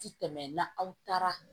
Ti tɛmɛ na aw taara